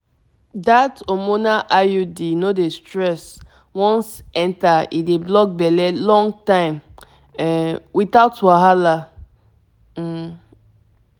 dat hormonal iud no dey stress once enter e dey block belle long time um without wahala um